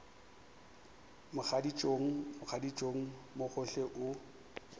mogaditšong mogaditšong mo gohle o